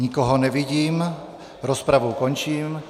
Nikoho nevidím, rozpravu končím.